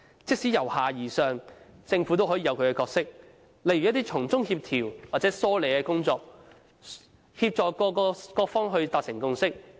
即使奉行由下而上的模式，政府也有其角色，例如從中做一些協調或梳理的工作，協助各方達成共識。